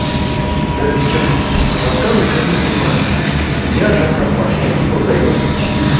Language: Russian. прежде чем рассказывать нужно понимать что ни одна компания не продаёт нефть